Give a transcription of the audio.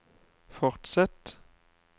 fortsett